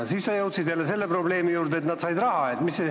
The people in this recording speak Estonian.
Ja siis jõudsid selle probleemini, et nad said raha.